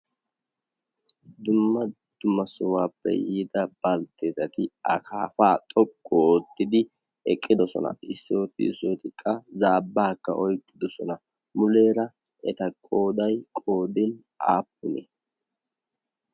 Dumma dumassohuwaappe yiida baltteetati a kaafaa xoqqu oottidi eqqidosona issooti ootikka zaabbaakka oiqqidosona muleera eta qoodai qoodin aappuni?